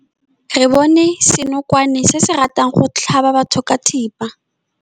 Re bone senokwane se se ratang go tlhaba batho ka thipa.